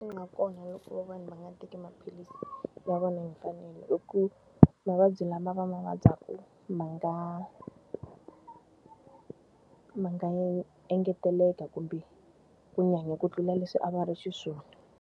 nga kona loko vanhu va nga teki maphilisi ya vona hi mfanelo i ku mavabyi lama va ma vabyaka ma nga ma nga engeteleka kumbe ku nyanya ku tlula leswi a va ri xiswona.